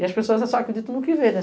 E as pessoas só acreditam no que vê, né?